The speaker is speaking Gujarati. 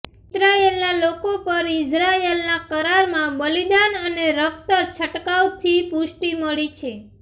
ઈસ્રાએલના લોકો પર ઇઝરાયલના કરારમાં બલિદાન અને રક્ત છંટકાવથી પુષ્ટિ મળી છે